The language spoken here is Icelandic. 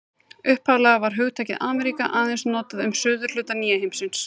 Upphaflega var hugtakið Ameríka aðeins notað um suðurhluta nýja heimsins.